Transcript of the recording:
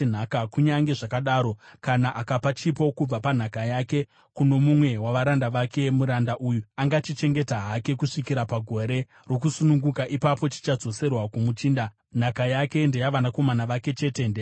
Kunyange zvakadaro, kana akapa chipo kubva panhaka yake kuno mumwe wavaranda vake, muranda uyu angachichengeta hake kusvikira pagore rokusununguka; ipapo chichadzoserwa kumuchinda. Nhaka yake ndeyavanakomana vake chete; ndeyavo.